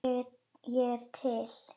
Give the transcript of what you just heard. Ég er til